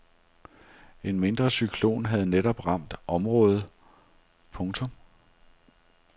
En mindre cyklon havde netop ramt området. punktum